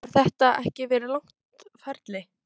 Hefur þetta ekki verið langt ferli?